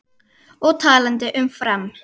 Og talandi um Fram.